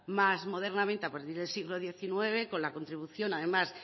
más modernamente a partir del siglo diecinueve con la contribución además